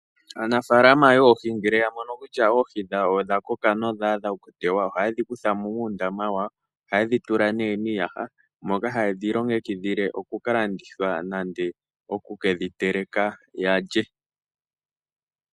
Aanafaalama yoohi ngele yamono kutya oohi dhawo odhakoka nodhaadha okukalandithwa okutewa. Ohayedhi kuthamo muundaama wawo, ohayedhitula nee miiyaha moka hayedhilongekidhile okukalandithwa nande okukedhi teleka yalye.